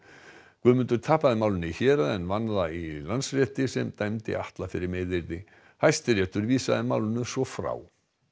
Guðmundur tapaði málinu í héraði en vann það í Landsrétti sem dæmdi Atla fyrir meiðyrði Hæstiréttur vísaði málinu svo frá